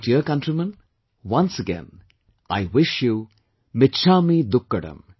My dear countrymen, once again, I wish you "michchamidukkadm